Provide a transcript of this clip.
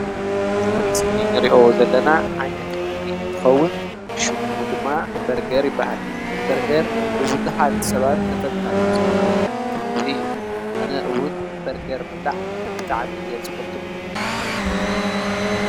ኣብዚ ምስሊ ንሪኦ ዘለና ዓይነት ምግቢ እንትከዉን ሽሙ ድማ በርገር ይበሃል። በርገር ብቡዙሓት ሰባት ተፈታዊ ዝኮነ ዓይነት ምግቢ እዩ። ኣነ እዉን በርገር ምብላዕ ብጣዕሚ እየ ዝፈቱ ።